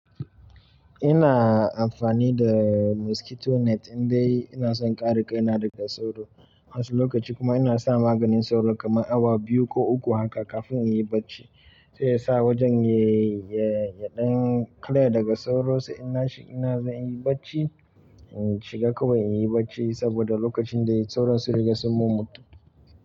Ina amfani da mosquito net indai ina son kare kaina daga sauro. Wasu lokaci kuma ina sa maganin sauro kamar awa biyu ko uku haka kafin in yi barci. Sai ya sa wajen ya, ya, ya ɗan clear daga sauro sai ina shi ina zan yi barci. Shiga kuma in yi barci saboda lokacin da sauron sun riga sun mummutu.